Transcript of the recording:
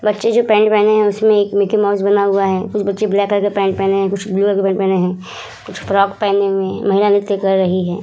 बच्चे जो पेंट पहने है उसमें एक मिकी माउस बना हुआ है कुछ बच्चे ब्लैक कलर के पेंट पहने है कुछ ब्लू कलर का पेंट पहने है कुछ फ्रॉक पहने हुए है महिला नृत्य कर रही है ।